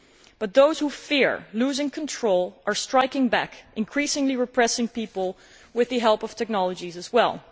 But those who fear losing control are striking back, increasingly repressing people with the help of technologies as well.